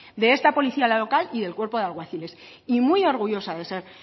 de esta policía la local y del cuerpo de alguaciles y muy orgullosa de ser